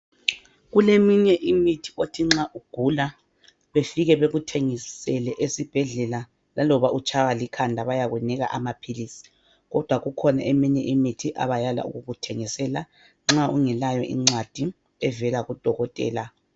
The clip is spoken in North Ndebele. Kuleminye imithi othi nxa ugula befike bekuthengisele esibhedlela laloba utshaywa likhanda bayakunika amaphilisi kodwa kukhona eminye imithi abayala ukukuthengisela nxa ungelayo incwadi evela kudokotela.